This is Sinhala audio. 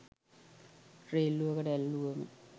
රේල්ලුවකට ඇල්ලුවම.